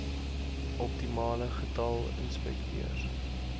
optimale getal inspekteurs